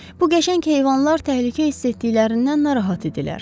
Bu qəşəng heyvanlar təhlükə hiss etdiklərindən narahat idilər.